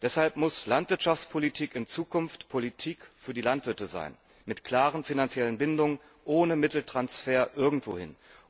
Deshalb muss Landwirtschaftspolitik in Zukunft Politik für die Landwirte sein, mit klaren finanziellen Bindungen ohne Mitteltransfer irgendwohin.